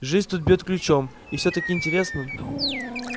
жизнь тут бьёт ключом и все так интересно